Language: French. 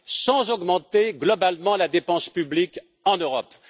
sans augmenter globalement la dépense publique en Europe.